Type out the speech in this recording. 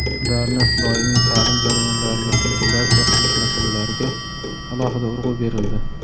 ularni doimiy taʼlim jarayonlariga integratsiya qilish masalalariga alohida urg‘u berildi.